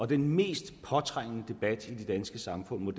den mest påtrængende debat i det danske samfund